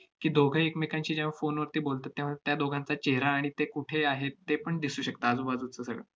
की, दोघे एकमेकांशी जेव्हा phone वरती बोलतात, तेव्हा त्या दोघांचा चेहरा आणि ते कुठे आहेत तेपण दिसू शकतं आजूबाजूचं सगळं.